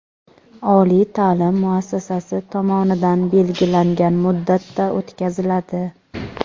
oliy taʼlim muassasasi tomonidan belgilangan muddatda o‘tkaziladi.